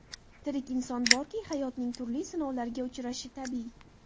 Tirik inson borki, hayotning turli sinovlariga uchrashi tabiiy.